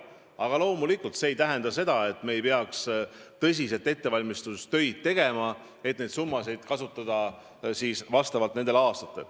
Aga loomulikult see ei tähenda, et me ei peaks tõsiselt ettevalmistustööd tegema, et seda raha nendel aastatel kasutada.